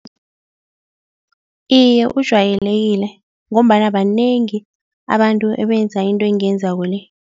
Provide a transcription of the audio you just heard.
Iye, ujwayelekile ngombana banengi abantu ebenza into engiyenzako-le.